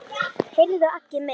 Heyrðu Aggi minn.